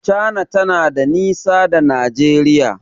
Cana na da nisa da Nigeria.